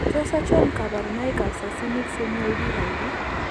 Tos achon kabarunaik ab Succinic semialdehyde ?